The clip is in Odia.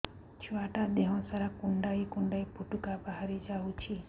ଛୁଆ ଟା ଦେହ ସାରା କୁଣ୍ଡାଇ କୁଣ୍ଡାଇ ପୁଟୁକା ବାହାରି ଯାଉଛି